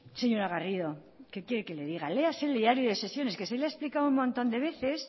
señora garrido qué quiere que le diga léase el diario de sesiones que se le ha explicado un montón de veces